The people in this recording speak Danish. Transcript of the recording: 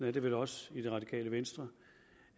er det vel også i det radikale venstre